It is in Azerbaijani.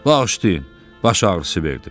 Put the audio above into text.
Bağışlayın, baş ağrısı verdim.